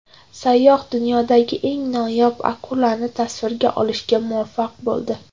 Sayyoh dunyodagi eng noyob akulani tasvirga olishga muvaffaq bo‘ldi .